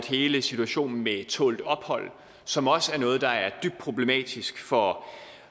hele situationen med tålt ophold som også er noget der er dybt problematisk for